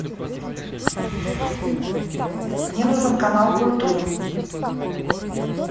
мне нужен канал культура